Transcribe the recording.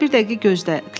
Ya da bir dəqiqə gözlə.